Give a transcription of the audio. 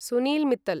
Sunil Mittal